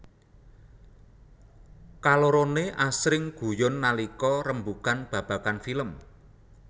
Kaloroné asring guyon nalika rembugan babagan film